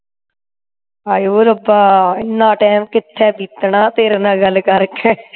ਹਾਏ ਓਏ ਰੱਬਾ ਇੰਨਾ ਟੈਮ ਕਿਥੇ ਬੀਤਣਾ ਤੇਰੇ ਨਾਲ ਗੱਲ ਕਰਕੇ